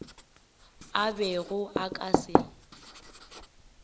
a bego a ka se